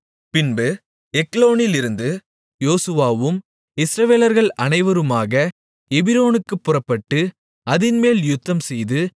பின்பு எக்லோனிலிருந்து யோசுவாவும் இஸ்ரவேலர்கள் அனைவருமாக எபிரோனுக்குப் புறப்பட்டு அதின்மேல் யுத்தம்செய்து